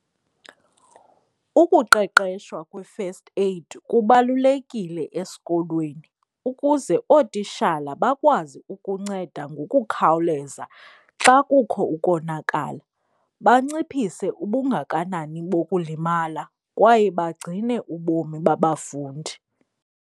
Ukuqeqeshwa kwe-first aid kubalulekile esikolweni ukuze ootishala bakwazi ukunceda ngokukhawuleza xa kukho ukonakala. Banciphise ubungakanani bokulimala kwaye bagcine ubomi babafundi.